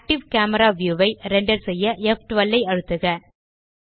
active camera view ஐ render செய்ய ப்12 ஐ அழுத்துக